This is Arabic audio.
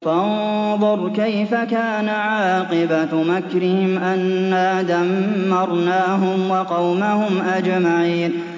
فَانظُرْ كَيْفَ كَانَ عَاقِبَةُ مَكْرِهِمْ أَنَّا دَمَّرْنَاهُمْ وَقَوْمَهُمْ أَجْمَعِينَ